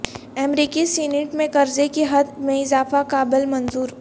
امریکی سینیٹ میں قرضے کی حد میں اضافے کا بل منظور